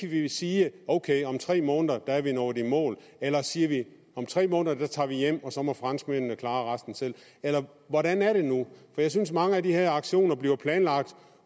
vi sige at ok om tre måneder er vi nået i mål eller siger vi at om tre måneder tager vi hjem og så må franskmændene klare resten selv eller hvordan er det nu jeg synes at mange af de her aktioner bliver planlagt